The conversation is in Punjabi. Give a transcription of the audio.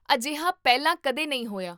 ਅਜਿਹਾ ਪਹਿਲਾਂ ਕਦੇ ਨਹੀਂ ਹੋਇਆ